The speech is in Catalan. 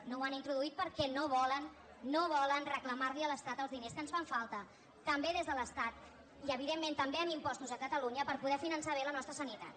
no ho han introduït perquè no volen no volen reclamar li a l’estat els diners que ens fan falta també des de l’estat i evidentment també amb impostos a catalunya per poder finançar bé la nostra sanitat